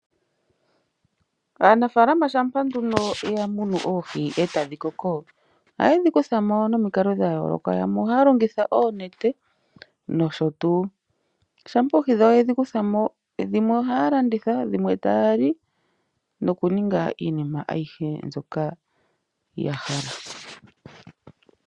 Aanafaalama shampa nduno yamunu oohi e tadhi koko, ohayedhi kuthamo nomikalo dhayooloka, yamwe ohaya longitha oonete nosho tuu. Shampa oohi dhawo yedhi kuthamo dhimwe ohaya landitha, dhimwe taya li nokuninga iinima ayihe mbyoka yahala.